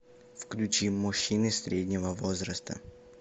включи мужчины среднего возраста